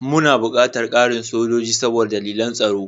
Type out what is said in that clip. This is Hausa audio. Muna buƙatar ƙarin sojoji saboda dalilan tsaro.